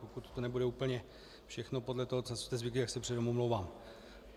Pokud to nebude úplně všechno podle toho, co jste řekl, tak se předem omlouvám.